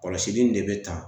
Kɔlɔsili in de bɛ tan